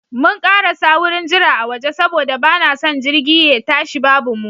Mun karasa wurin jira a waje saboda ba na son jirgi ye tashi babu mu.